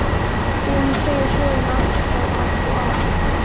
Búin að segja söguna aftur á bak og áfram.